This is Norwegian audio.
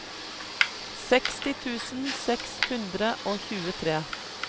seksti tusen seks hundre og tjuetre